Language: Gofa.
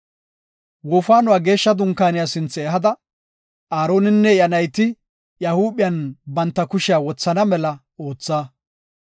“Wofaanuwa Geeshsha Dunkaaniya sinthe ehada, Aaroninne iya nayti iya huuphiyan banta kushiya wothana mela ootha.